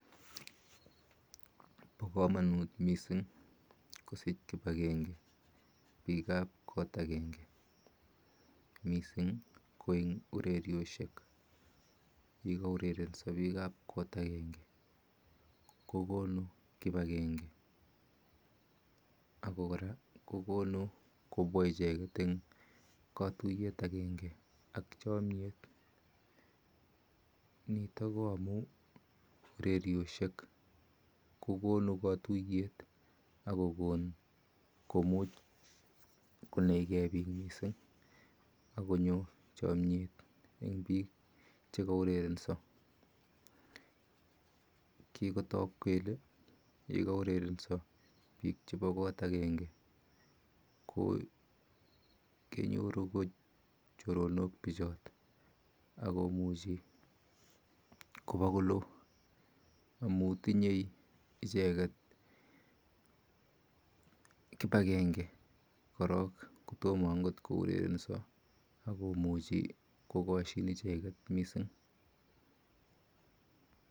Bo komonut mising kosich kipakenge biikap kot akenge mising ko eng ureryoshek yekaurerenso biikap kot akenge kokonu kipakenge ako kora kokonu kobwa icheket eng ketuiyet akenge ak chomyet. Nitok ko amu ureryoshek kokonu katuiyet akokon komuch konaikei biik mising akonyo chomyet eng biik chekaurerenso. Kikotok kele yekaurerenso biik chepo kot akenge kokenyoru ko choronok bichot akomuchi kopa kolo amu tinye icheket kipakenge korok kotomo ankot kuurerenso akomuchi kokoshin icheket mising.